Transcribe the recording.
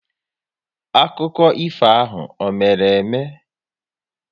Akụkọ ifo ahụ ọ mere eme?